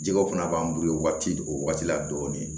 Jɛgɛw fana b'an bolo waati o waati la dɔɔnin